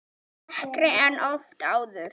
Dekkri en oft áður.